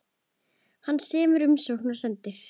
Hann semur umsókn og sendir.